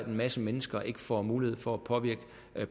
masse mennesker ikke får mulighed for at påvirke